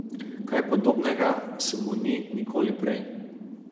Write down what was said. Kaj podobnega se mu ni nikoli prej.